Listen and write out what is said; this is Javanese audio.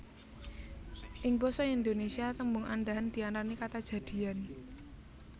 Ing basa Indonesia tembung andhahan diarani kata jadian